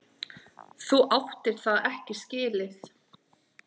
Þú áttir það ekki skilið.